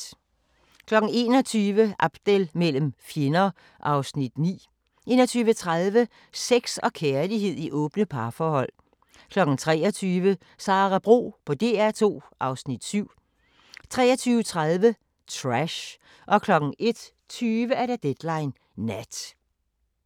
21:00: Abdel mellem fjender (Afs. 9) 21:30: Sex og kærlighed i åbne parforhold 23:00: Sara Bro på DR2 (Afs. 7) 23:30: Trash 01:20: Deadline Nat